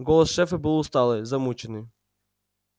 голос шефа был усталый замученный